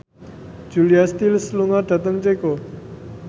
Julia Stiles lunga dhateng Ceko